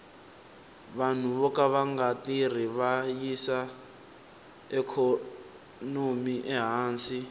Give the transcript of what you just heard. vanhu voka vanga tirhi va yisa ikhonomi ehansi